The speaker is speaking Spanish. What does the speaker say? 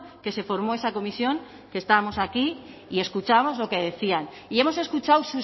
que se formó esa comisión que estábamos aquí y escuchábamos lo que decían y hemos escuchado